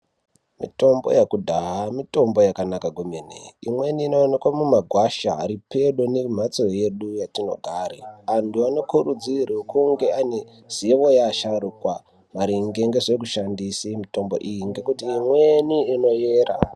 Mitombo yakudhaya, mitombo yakanaka kwemene. Imweni inoonekwa mumagwasha ari pedo nemhatso yedu yatinogare. Antu anokurudzirwe kunge ane zivo yeasharukwa maringe ngezvekushandise mitombo iyi ngekuti imweni inoyera.